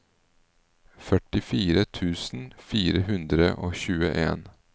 førtifire tusen fire hundre og tjueen